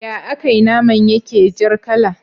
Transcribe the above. Ya akai naman yake jar kala